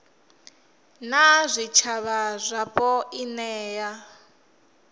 na zwitshavha zwapo i nea